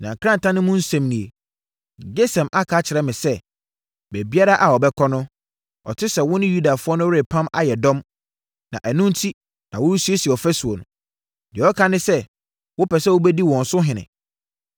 Na krataa no mu nsɛm nie: “Gesem aka akyerɛ me sɛ, baabiara a ɔbɛkɔ no, ɔte sɛ wo ne Yudafoɔ no repam ayɛ dɔm, na ɛno enti na woresiesie ɔfasuo no. Deɛ ɔka ne sɛ, wopɛ sɛ wobɛdi wɔn so ɔhene.